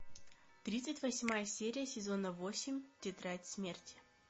тридцать восьмая серия сезона восемь тетрадь смерти